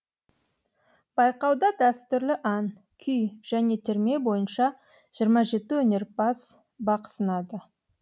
байқауда дәстүрлі ән күй және терме бойынша жиырма жеті өнерпаз бақ сынады